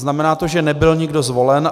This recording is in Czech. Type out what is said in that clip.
Znamená to, že nebyl nikdo zvolen.